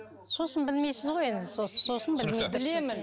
сосын білмейсіз ғой енді сосын білемін